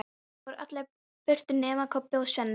Síðan fóru allir burt nema Kobbi og Svenni.